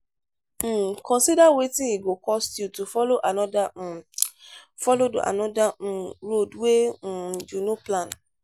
um consider wetin e go cost you to follow another um follow another um road wey um you no plan